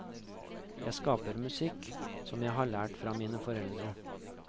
Jeg skaper musikk som jeg har lært fra mine forfedre.